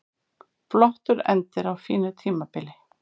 Flottur endir á fínu tímabili